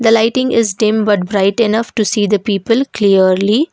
the lighting is dim but bright enough to see the people clearly.